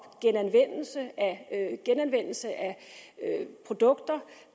genanvendelse af produkter